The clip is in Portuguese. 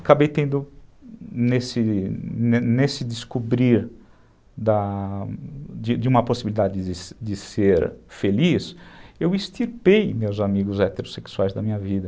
Acabei tendo, nesse nesse descobrir da de uma possibilidade de ser feliz, eu extirpei meus amigos heterossexuais da minha vida.